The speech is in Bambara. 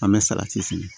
An bɛ fili